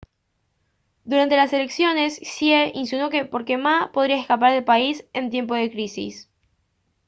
durante las elecciones hsieh insinuó que ma podría escapar del país en tiempos de crisis